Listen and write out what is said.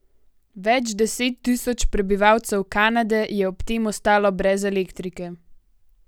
Več deset tisoč prebivalcev Kanade je ob tem ostalo brez elektrike.